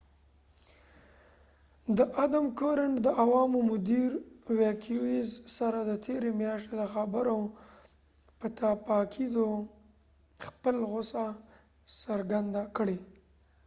د عوامو مدیر adam cuerden د ویکيویوز سره د تیرې میاشتې د خبرو پر پاکیدو خپل غوسه څرګنده کړه